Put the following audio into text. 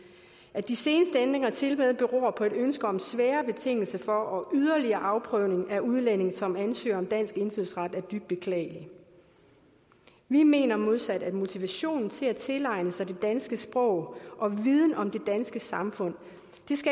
at de seneste ændringer tilmed beror på et ønske om sværere betingelser for og yderligere afprøvning af udlændinge som ansøger om dansk indfødsret er dybt beklageligt vi mener modsat at motivationen til at tilegne sig det danske sprog og viden om det danske samfund